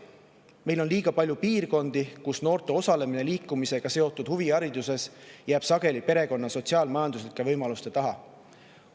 Meil on liiga palju piirkondi, kus noorte osalemine liikumisega seotud huvihariduses jääb sageli perekonna sotsiaal-majanduslike võimaluste taha.